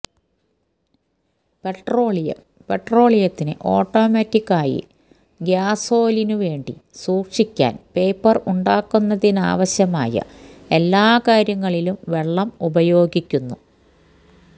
petroleum പെട്രോളിയത്തിന് automatic ആയി ഗ്യാസോലിനു വേണ്ടി സൂക്ഷിക്കാൻ പേപ്പർ ഉണ്ടാക്കുന്നതിനാവശ്യമായ എല്ലാ കാര്യങ്ങളിലും വെള്ളം ഉപയോഗിക്കുന്നു